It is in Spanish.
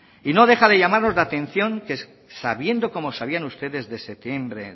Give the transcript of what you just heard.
y no deja de llamarnos la atención que sabían ustedes desde septiembre